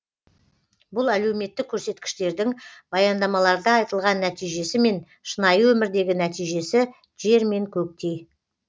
бұл әлеуметтік көрсеткіштердің баяндамаларда айтылған нәтижесі мен шынайы өмірдегі нәтижесі жер мен көктей